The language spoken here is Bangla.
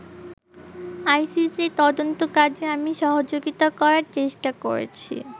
আইসিসির তদন্ত কাজে আমি সহযোগিতা করার চেষ্টা করেছি।